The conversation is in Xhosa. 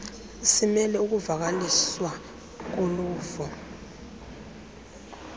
simele ukuvakaliswa koluvo